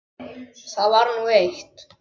Það var nú eitt.